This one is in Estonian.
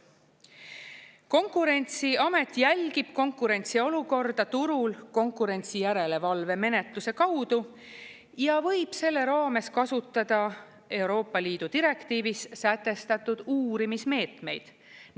Konkurentsiamet jälgib konkurentsiolukorda turul konkurentsijärelevalvemenetluse kaudu ja võib selle raames kasutada Euroopa Liidu direktiivis sätestatud uurimismeetmeid.